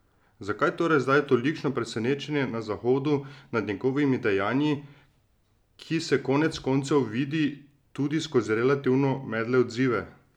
Zakaj torej zdaj tolikšno presenečenje na Zahodu nad njegovimi dejanji, ki se konec koncev vidi tudi skozi relativno medle odzive?